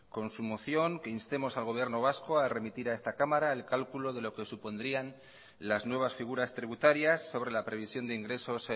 con su moción que instemos al gobierno vasco a remitir a esta cámara el cálculo de lo que supondrían las nuevas figuras tributarias sobre la previsión de ingresos